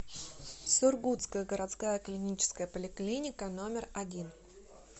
сургутская городская клиническая поликлиника номер один